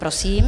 Prosím.